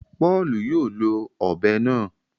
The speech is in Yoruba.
Paulu yóò ló òbé náà